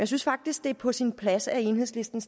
synes faktisk det er på sin plads at enhedslisten